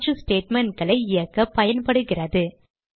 மாற்று statementகளை இயக்க பயன்படுகிறது